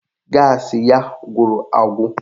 Gaasị ya gwụrụ agwụ